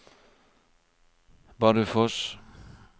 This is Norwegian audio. Bardufoss